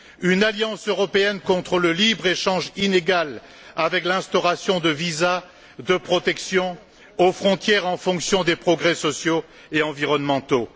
une alliance européenne contre le libre échange inégal avec l'instauration de visas, de protections aux frontières en fonction des progrès sociaux et environnementaux